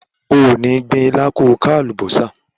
O ò ní gbin ilá ko ka àlùbọ́sà.